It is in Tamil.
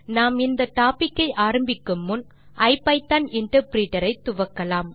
நாம் இந்த டோபிக் ஐ ஆரம்பிக்கு முன் ஐபிதான் இன்டர்பிரிட்டர் ஐ துவக்கலாம்